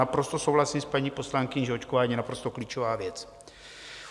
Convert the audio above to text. Naprosto souhlasím s paní poslankyní, že očkování je naprosto klíčová věc.